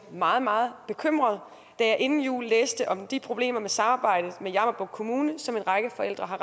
meget meget bekymret da jeg inden jul læste om de problemer med samarbejdet med jammerbugt kommune som en række forældre har